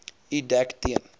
u dek teen